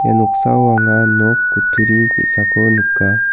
ia noksao anga nok kutturi ge·sako nika.